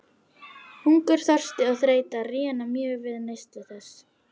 Hungur, þorsti og þreyta réna mjög við neyslu þess.